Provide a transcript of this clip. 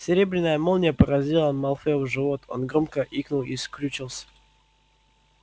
серебряная молния поразила малфоя в живот он громко икнул и скрючился